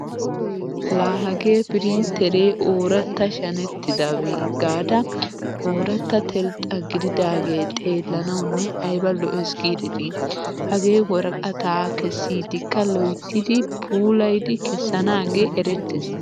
Laa hagee pirrintteree ooratta shanettidabee gaada, ooratta telxxaa gididaagee xeellanawunne ayba lo'ees giidetii! Hagee worqataa kessiiddikka loyttidi puulayidi kessanaagee erettees.